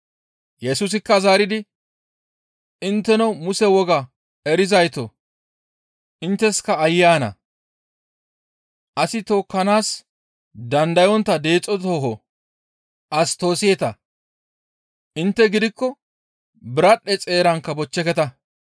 Yesusikka zaaridi, «Intteno Muse wogaa erizaytoo intteska aayye ana! Asi tookkanaas dandayontta deexo tooho as toosseeta; intte gidikko biradhdhe xeerankka bochcheketa.